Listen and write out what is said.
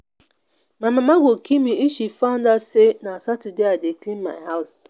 my mama go kill me if she find out say na saturday i dey clean my house